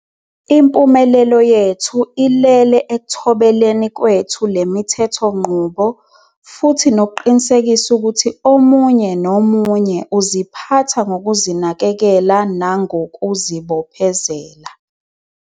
Impumelelo yethu ilele ekuthobeleni kwethu le mithethonqubo futhi nokuqinisekisa ukuthi omunye nomunye uziphatha ngokuzinakekela nangokuzibo phezela.